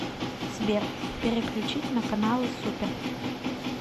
сбер переключить на каналы супер